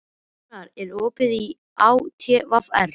Rúnar, er opið í ÁTVR?